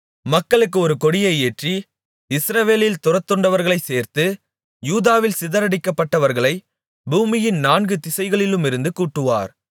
மக்களுக்கு ஒரு கொடியை ஏற்றி இஸ்ரவேலில் துரத்துண்டவர்களைச் சேர்த்து யூதாவில் சிதறடிக்கப்பட்டவர்களை பூமியின் நான்கு திசைகளிலுமிருந்து கூட்டுவார்